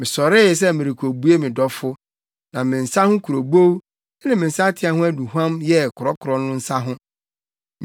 Mesɔree sɛ merekobue me dɔfo, na me nsa ho kurobow ne me nsateaa ho aduhuam, yɛɛ korɔkorɔ no nsa ho.